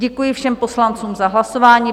Děkuji všem poslancům za hlasování.